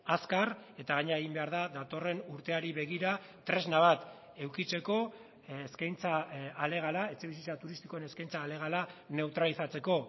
azkar eta gainera egin behar da datorren urteari begira tresna bat edukitzeko eskaintza alegala etxebizitza turistikoen eskaintza alegala neutralizatzeko